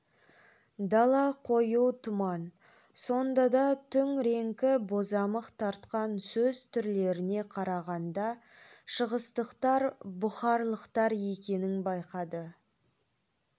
дала қою тұман сонда да түн реңкі бозамық тартқан сөз түрлеріне қарағанда шығыстықтар бұхарлықтар екенін байқады